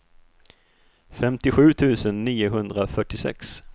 femtiosju tusen niohundrafyrtiosex